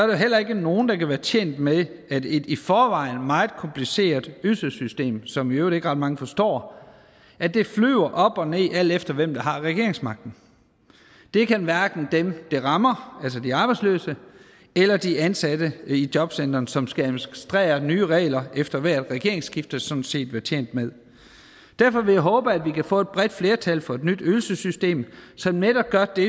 jo heller ikke nogen der kan være tjent med at et i forvejen meget kompliceret ydelsessystem som i øvrigt ikke ret mange forstår flyver op og ned alt efter hvem der har regeringsmagten det kan hverken dem det rammer altså de arbejdsløse eller de ansatte i jobcentrene som skal administrere nye regler efter hvert regeringsskifte sådan set være tjent med derfor vil jeg håbe at vi kan få et bredt flertal for et nyt ydelsessystem som netop gør det